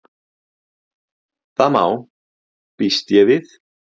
Það má.- býst ég við.